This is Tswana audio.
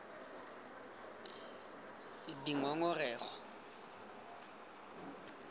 dingongorego